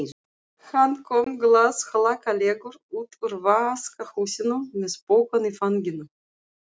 Hann kom glaðhlakkalegur út úr vaskahúsinu með pokann í fanginu.